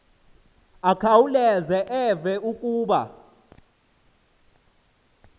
akhawuleze eve kuba